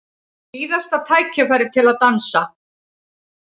Síðasta tækifærið til að dansa